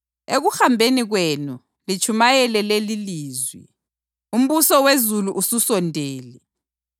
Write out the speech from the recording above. Ekuhambeni kwenu, litshumayele lelilizwi: ‘Umbuso wezulu ususondele.’